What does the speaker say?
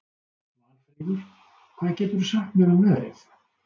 Valfríður, hvað geturðu sagt mér um veðrið?